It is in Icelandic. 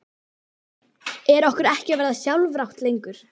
Er okkur ekki að verða sjálfrátt lengur?